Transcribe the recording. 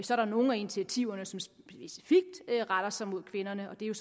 der nogle af initiativerne som specifikt retter sig mod kvinderne og det er